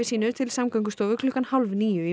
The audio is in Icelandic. sínu til Samgöngustofu klukkan hálf níu